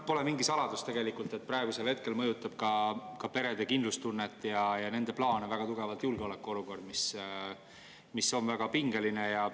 Pole mingi saladus tegelikult, et praegusel mõjutab perede kindlustunnet ja plaane väga tugevasti julgeolekuolukord, mis on väga pingeline.